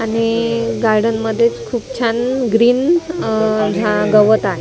आणि गार्डन मध्येच खूप छान ग्रीन अ झा गवत आहे .